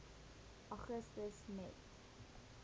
augustus net